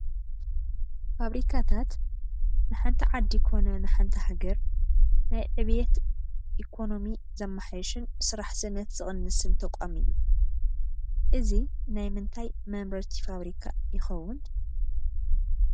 ፋብሪካታት ንሓንቲ ዓዲ ኮነ ንሓንቲ ሃገር ናይ ዕብየት ኢኮኖሚ ዘማሓሽን ስራሕ ስእነት ዝቕንስን ተቋም እዩ፡፡ እዚ ናይ ምንታይ መምረቲ ፋብሪካ ይኸውን?